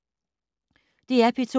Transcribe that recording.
DR P2